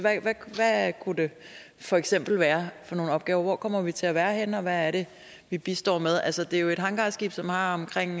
hvad kunne det for eksempel være for nogle opgaver hvor kommer vi til at være henne og hvad er det vi bistår med altså det er jo et hangarskib som har omkring